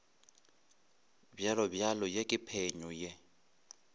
bjalobjalo ye ke phenyo ye